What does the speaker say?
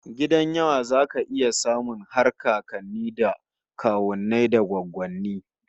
A gidan yawa zaka iya samun har kakanni da kawunnai da goggonni